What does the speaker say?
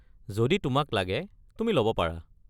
যদি তোমাক লাগে তুমি ল’ব পাৰা।